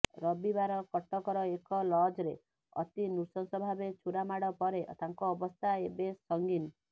ରବିବାର କଟକର ଏକ ଲଜରେ ଅତିନୃଶଂସ ଭାବେ ଛୁରାମାଡ ପରେ ତାଙ୍କ ଅବସ୍ଥା ଏବେ ସଂଗୀନ